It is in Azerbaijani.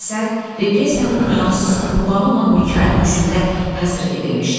Əsər repressiyanın günahsız qurbanı olan Mikayıl Müşfiqə həsr edilmişdi.